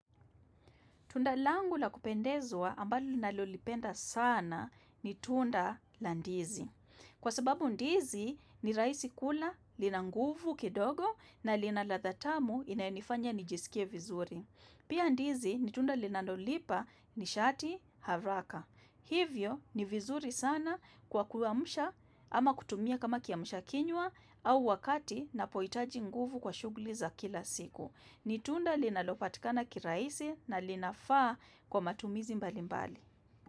Tunda langu la kupendezwa ambalo ninalolipenda sana ni tunda la ndizi. Kwa sababu ndizi ni rahisi kula, linanguvu kidogo na linaladha tamu inayonifanya nijisikie vizuri. Pia ndizi ni tunda linanolipa nishati haraka. Hivyo ni vizuri sana kwa kuamsha ama kutumia kama kiamshakinywa au wakati ninapohitaji nguvu kwa shughuli za kila siku. Nitunda linalopatikana kirahisi na linafaa kwa matumizi mbali mbali.